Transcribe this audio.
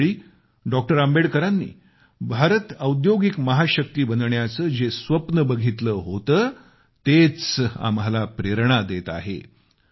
अशावेळी डॉ आंबेडकरांनी भारत औद्योगिक महाशक्ती बनण्याचे जे स्वप्न बघितले होते तेच आम्हाला प्रेरणा देत आहे